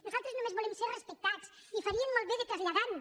nosaltres només volem ser respectats i farien molt bé de traslladar ho